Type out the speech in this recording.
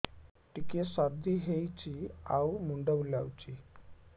ଟିକିଏ ସର୍ଦ୍ଦି ହେଇଚି ଆଉ ମୁଣ୍ଡ ବୁଲାଉଛି